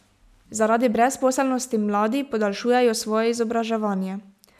Zaradi brezposelnosti mladi podaljšujejo svoje izobraževanje.